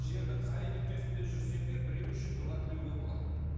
жердің қай нүктесінде жүрсең де біреу үшін дұға тілеуге болады